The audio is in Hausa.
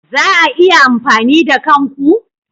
Za a iya amfani da kan ku?